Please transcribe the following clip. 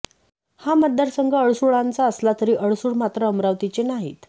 हा मतदारसंघ अडसुळांचा असला तरी अडसूळ मात्र अमरावतीचे नाहीत